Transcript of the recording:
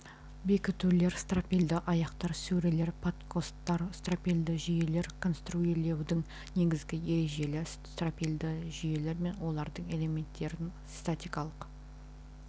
бекітулер стропильді аяқтар сөрелер подкостар стропильді жүйелер конструирлеудің негізгі ережелері стропильді жүйелер мен олардың элементтерін статикалық